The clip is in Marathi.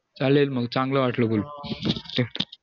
चालेल मग चांगलं वाटलं बोलून